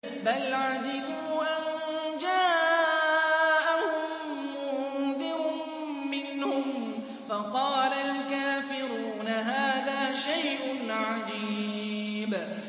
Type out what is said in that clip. بَلْ عَجِبُوا أَن جَاءَهُم مُّنذِرٌ مِّنْهُمْ فَقَالَ الْكَافِرُونَ هَٰذَا شَيْءٌ عَجِيبٌ